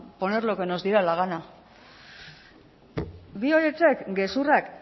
poner lo que nos diera la gana bi horiek gezurrak